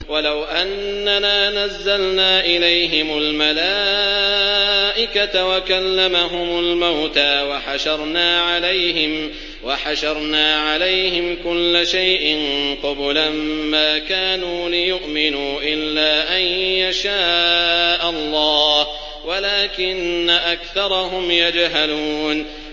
۞ وَلَوْ أَنَّنَا نَزَّلْنَا إِلَيْهِمُ الْمَلَائِكَةَ وَكَلَّمَهُمُ الْمَوْتَىٰ وَحَشَرْنَا عَلَيْهِمْ كُلَّ شَيْءٍ قُبُلًا مَّا كَانُوا لِيُؤْمِنُوا إِلَّا أَن يَشَاءَ اللَّهُ وَلَٰكِنَّ أَكْثَرَهُمْ يَجْهَلُونَ